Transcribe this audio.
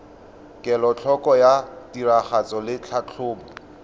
kelotlhoko ya tiragatso le tlhatlhobo